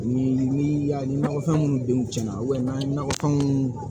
Ni nɔgɔfɛn minnu denw cɛnna n'an ye nakɔfɛnw